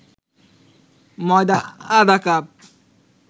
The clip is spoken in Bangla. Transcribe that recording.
ময়দা আধা কাপ